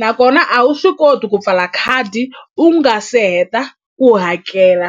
nakona a wu swi koti ku pfala khadi u nga se heta ku hakela .